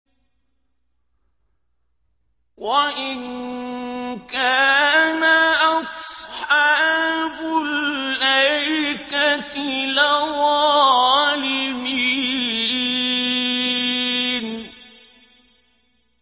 وَإِن كَانَ أَصْحَابُ الْأَيْكَةِ لَظَالِمِينَ